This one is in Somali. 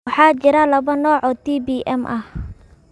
Waxaa jira laba nooc oo TBM ah.